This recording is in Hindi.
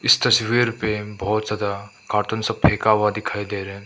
इस तस्वीर पे बहोत ज्यादा कार्टून सब फेका हुआ दिखाई दे रहा है।